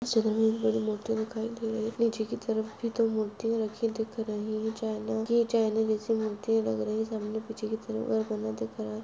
बड़ी बड़ी मूर्ति दिखाई दे रही है नीचे की तरफ भी दो मूर्तिया रखी दिख रही है चाइना की चाइना जैसी मूर्तिया लग रही है सामने पीछे की तरफ दिख रहा है।